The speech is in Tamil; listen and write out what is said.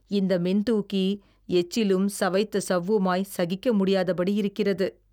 இந்த மின்தூக்கி எச்சிலும் சவைத்த சவ்வுமாய் சகிக்க முடியாதபடி இருக்கிறது